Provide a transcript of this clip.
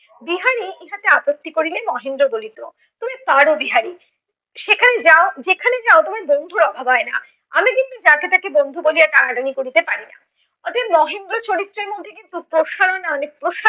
বিহারি ইহাতে আপত্তি করিলে মহেন্দ্র বলিত তুমি পারো বিহারি। সেখানে যাও, যেখানে যাও তোমার বন্ধুর অভাব হয় না। আমি কিন্তু যাকে তাকে বন্ধু বলিয়া টানাটানি করিতে পারিনা। অতএব মহেন্দ্র চরিত্রের মধ্যে কিন্তু প্রসারণে অনেক